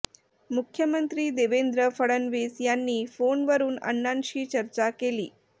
मुख्यमंत्री देवेंद्र फडणवीस यांनी फोन वरून अण्णांशी चर्चा केली